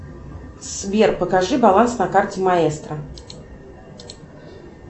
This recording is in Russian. сбер покажи баланс на карте маэстро